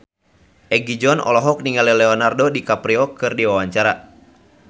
Egi John olohok ningali Leonardo DiCaprio keur diwawancara